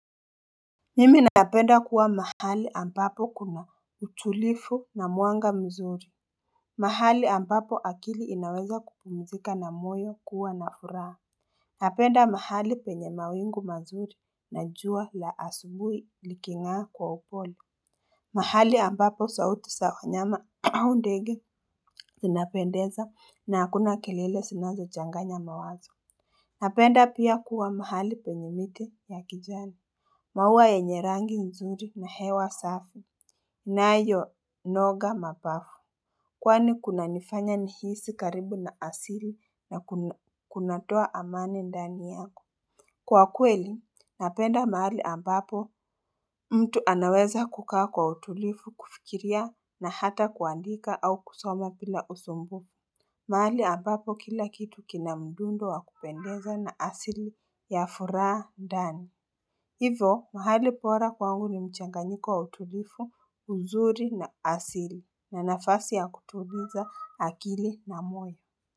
Mimi napenda kuwa mahali ambapo kuna utulivu na mwanga mzuri. Mahali ambapo akili inaweza kupumzika na moyo kuwa na furaha Napenda mahali penye mawingu mazuri na jua la asubuhi liking'aa kwa upole mahali ambapo sauti za wanyama au ndege zinapendeza na hakuna kelele zinazo changanya mawazo Napenda pia kuwa mahali penye miti ya kijani maua yenye rangi nzuri na hewa safi yanayo noga mabafu. Kwani kunanifanya nihisi karibu na asili na kunatoa amani ndani yako. Kwa kweli, napenda mahali ambapo mtu anaweza kukaa kwa utulivu kufikiria na hata kuandika au kusoma bila usumbufu. Mahali ambapo kila kitu kina mdundo wa kupendeza na asili ya furaha ndani. Hivyo mahali bora kwangu ni mchanganyiko wa utulivu uzuri na asili na nafasi ya kutuliza akili na moyo.